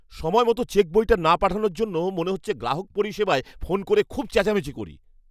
সময়মতো চেকবইটা না পাঠানোর জন্য মনে হচ্ছে গ্রাহক পরিষেবায় ফোন করে খুব চেঁচামেচি করি।